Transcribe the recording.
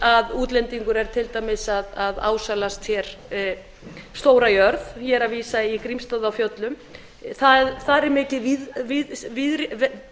að útlendingur er til dæmis að ásælast stóra jörð ég er að vísa í grímsstaði á fjöllum þar er mikið